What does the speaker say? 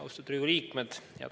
Austatud Riigikogu liikmed!